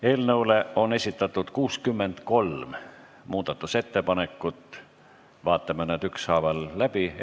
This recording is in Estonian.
Eelnõu kohta on esitatud 63 muudatusettepanekut, vaatame need ükshaaval läbi.